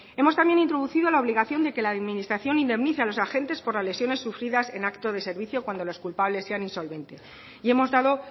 hemos también introducido la obligación de que la administración indemnice a los agentes por la lesiones sufridas en acto de servicio cuando los culpables sean insolvente y hemos dado